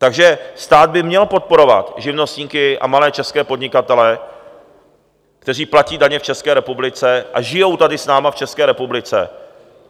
Takže stát by měl podporovat živnostníky a malé české podnikatele, kteří platí daně v České republice a žijí tady s námi v České republice.